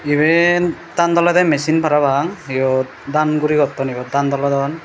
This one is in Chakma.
iban dan dolede machine parapang yot dan guri gotton yot dan dolodon.